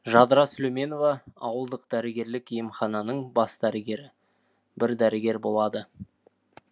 жадыра сүлейменова ауылдық дәрігерлік емхананың бас дәрігері бір дәрігер болады